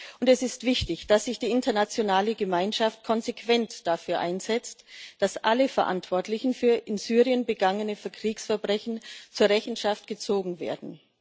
Und es ist wichtig, dass sich die internationale Gemeinschaft konsequent dafür einsetzt, dass alle Verantwortlichen für in Syrien begangene Kriegsverbrechen zur Rechenschaft gezogen werden.